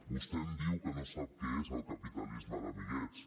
vostè em diu que no sap què és el capitalisme d’amiguets